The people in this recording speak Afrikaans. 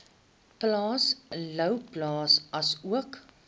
plaas louwplaas asook